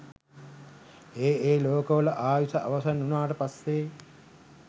ඒ ඒ ලෝකවල ආයුෂ අවසන් වුණාට පස්සේ